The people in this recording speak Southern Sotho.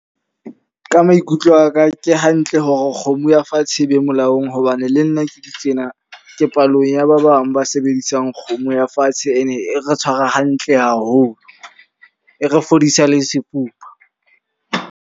Ka maikutlo a ka ke hantle hore kgomo ya fatshe e be molaong. Hobane le nna ke le tjena ke palong ya ba bang ba sebedisang kgomo ya fatshe. E ne e re tshwara hantle haholo, e re fodisa le sefuba.